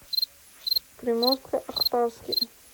приморско ахтарске